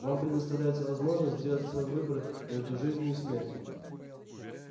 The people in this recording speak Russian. вам предоставляется возможность сделать свой выбор между жизнью и смертью